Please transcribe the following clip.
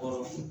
Ɔ